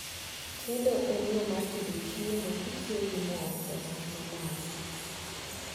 chiedo en yoo mar tedo chiemo kitiyogi moo e mach ma malo